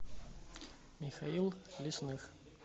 михаил лесных